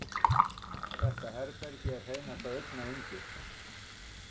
Þetta herbergi er hreinasta augnayndi.